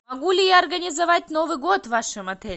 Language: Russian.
могу ли я организовать новый год в вашем отеле